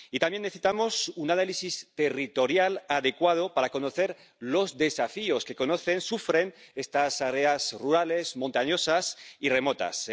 Y también necesitamos un análisis territorial adecuado para conocer los desafíos que conocen, sufren estas áreas rurales, montañosas y remotas.